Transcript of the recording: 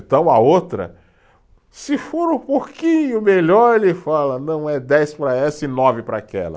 Então, a outra, se for um pouquinho melhor, ele fala, não, é dez para essa e nove para aquela.